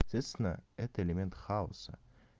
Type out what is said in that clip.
естественно это элемент хаоса